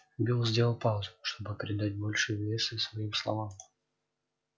билл сделал паузу чтобы придать больше веса своим словам